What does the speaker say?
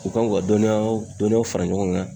U kan k'u ka dɔnniya dɔnniyaw fara ɲɔgɔn kan